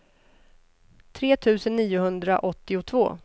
tre tusen niohundraåttiotvå